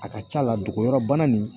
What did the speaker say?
A ka ca la dogoyɔrɔ bana nin